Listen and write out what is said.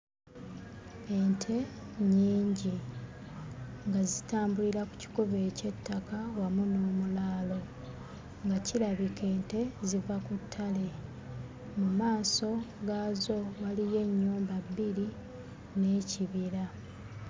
Ente nnyingi nga zitambulira ku kikubo eky'ettaka wamu n'omulaalo nga kirabika ente ziva ku ttale mu maaso gaazo waliyo ennyumba bbiri n'ekibira.